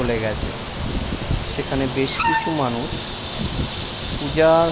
খুলে গেছে। সেখানে বেশ কিছু মানুষ পূজা-আর--